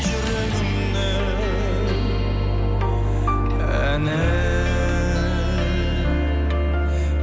жүрегімнің әні